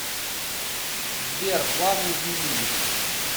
сбер планы изменились